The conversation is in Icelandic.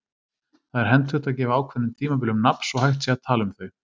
Það er hentugt að gefa ákveðnum tímabilum nafn svo hægt sé að tala um þau.